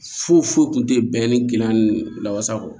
Foyi foyi tun tɛ bɛn ni gilan ni lawasa kɔ